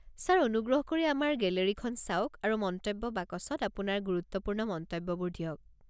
Sir, অনুগ্ৰহ কৰি আমাৰ গেলেৰিখন চাওক আৰু মন্তব্য বাকচত আপোনাৰ গুৰুত্বপূৰ্ণ মন্তব্যবোৰ দিয়ক।